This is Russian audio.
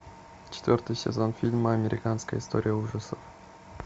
четвертый сезон фильма американская история ужасов